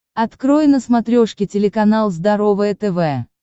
открой на смотрешке телеканал здоровое тв